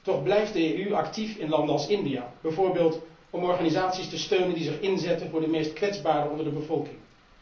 Toch blijft de EU actief in landen als India, bijvoorbeeld om organisaties te steunen die zich inzetten voor de meest kwetsbaren onder de bevolking.